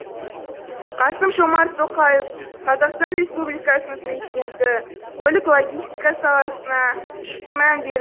қасым жомарт тоқаев қазақстан республикасының президенті көлік логистика саласына жіті мән бер